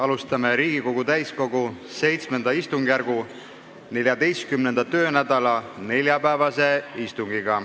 Alustame Riigikogu täiskogu VII istungjärgu 14. töönädala neljapäevast istungit.